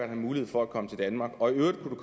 en mulighed for at komme til danmark og i øvrigt kunne